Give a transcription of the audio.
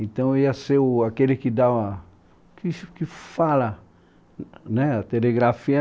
Então eu ia ser o aquele que dá , que que fala, né a telegrafia.